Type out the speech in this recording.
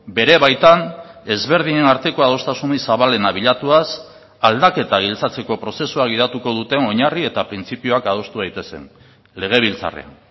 bere baitan ezberdinen arteko adostasunik zabalena bilatuaz aldaketa giltzatzeko prozesua gidatuko duten oinarri eta printzipioak adostu daitezen legebiltzarrean